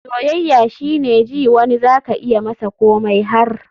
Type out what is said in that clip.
soyayya shine ji wani za ka iya masa komai har.